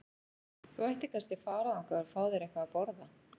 Þú ættir kannski að fara þangað og fá þér eitthvað að borða.